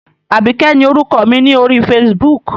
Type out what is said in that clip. Àbíkẹ́ ni orúkọ mi ni ori Facebook.